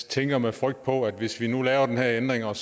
tænker med frygt på ske hvis vi nu lavede den her ændring og